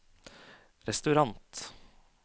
restaurant